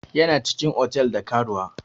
Yana cikin otal da karuwa.